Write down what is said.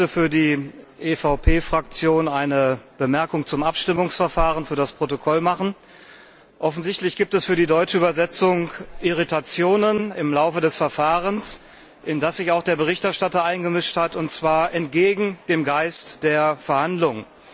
Ich möchte für die EVP Fraktion eine Bemerkung zum Abstimmungsverfahren für das Protokoll machen. Offensichtlich gibt es für die deutsche Übersetzung Irritationen im Laufe des Verfahrens, in das sich auch der Berichterstatter eingemischt hat, und zwar entgegen dem Geist der Verhandlungen.